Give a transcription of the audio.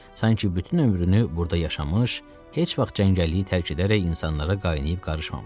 Sanki bütün ömrünü burada yaşamış, heç vaxt cəngəlliyi tərk edərək insanlara qaynayıb qarışmamışdı.